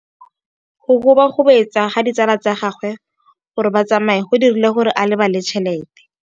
Go gobagobetsa ga ditsala tsa gagwe, gore ba tsamaye go dirile gore a lebale tšhelete.